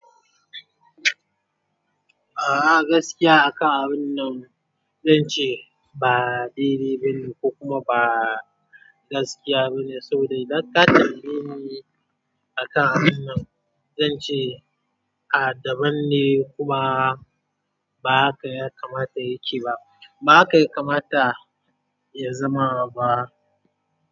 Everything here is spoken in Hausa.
A'a gaskiya a ka'a wannan zance ba daidai bane kuma ba gaskiya bane, sabida idan ka tambaye ni aka'a wannan zance a daban ne kuma ba haka yakamata yace ba, ba haka yakamata ya zama ba.